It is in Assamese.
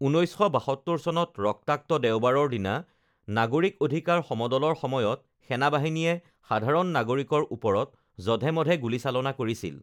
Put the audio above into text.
ঊনৈছশ বাসত্তৰ চনত ৰক্তাক্ত দেওবাৰৰ দিনা নাগৰিক অধিকাৰ সমদলৰ সময়ত সেনাবাহিনীয়ে সাধাৰণ নাগৰিকৰ ওপৰত জধে-মধে গুলীচালনা কৰিছিল